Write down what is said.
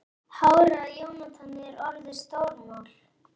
Hárið á Jóhanni er orðið stórmál.